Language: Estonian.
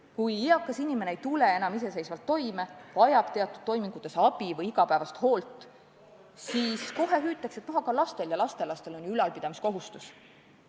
Kui eakas inimene ei tule enam iseseisvalt toime, vajab teatud toimingutes abi või igapäevast hoolt, siis kohe hüütakse, et aga lastel ja lastelastel on ju ülalpidamiskohustus.